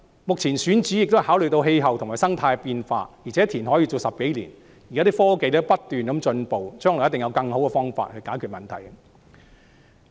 目前，選址也考慮到氣候和生態的變化，而且填海工程要做10多年，科技不斷進步，將來一定有更好的方法解決問題。